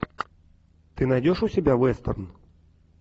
ты найдешь у себя вестерн